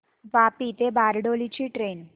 वापी ते बारडोली ची ट्रेन